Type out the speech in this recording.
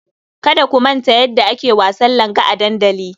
Kada ku manta yadda ake wasan langa a dandali.